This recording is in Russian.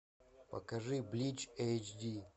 покажи блич эйч ди